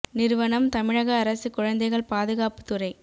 நிறுவனம் தமிழக அரசு குழந்தைகள் பாதுகாப்பு துறை